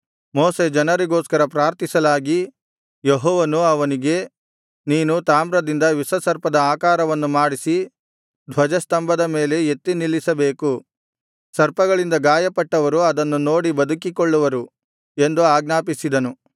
ಮೋಶೆ ಜನರಿಗೋಸ್ಕರ ಪ್ರಾರ್ಥಿಸಲಾಗಿ ಯೆಹೋವನು ಅವನಿಗೆ ನೀನು ತಾಮ್ರದಿಂದ ವಿಷಸರ್ಪದ ಆಕಾರವನ್ನು ಮಾಡಿಸಿ ಧ್ವಜಸ್ತಂಭದ ಮೇಲೆ ಎತ್ತಿ ನಿಲ್ಲಿಸಬೇಕು ಸರ್ಪಗಳಿಂದ ಗಾಯಪಟ್ಟವರು ಅದನ್ನು ನೋಡಿ ಬದುಕಿಕೊಳ್ಳುವರು ಎಂದು ಆಜ್ಞಾಪಿಸಿದನು